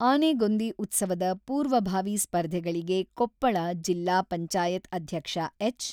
ಆನೆಗೊಂದಿ ಉತ್ಸವದ ಪೂರ್ವಭಾವಿ ಸ್ಪರ್ಧೆಗಳಿಗೆ ಕೊಪ್ಪಳ ಜಿಲ್ಲಾ ಪಂಚಾಯತ್ ಅಧ್ಯಕ್ಷ ಎಚ್.